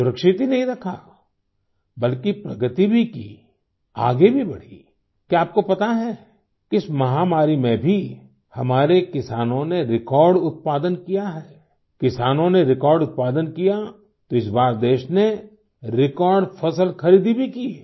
सुरक्षित ही नहीं रखा बल्कि प्रगति भी की आगे भी बढ़ी क्या आपको पता है कि इस महामारी में भी हमारे किसानों ने रेकॉर्ड उत्पादन किया है किसानों ने रेकॉर्ड उत्पादन किया तो इस बार देश ने रेकॉर्ड फसल खरीदी भी की है